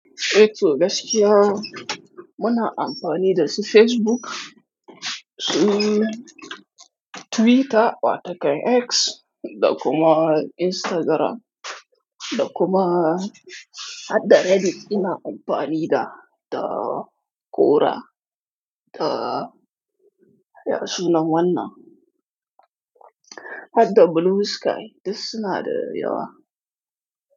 Eh to gaskiya muna amfani da su Facebook, su Twitter, wata kan X da kuma Instagram da kuma har da Reddit ina amfani da, da Quora da ya suna wannan? Har da Blue Sky, duk suna da yawa.